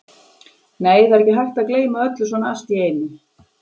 Nei, það er ekki hægt að gleyma öllu svona allt í einu.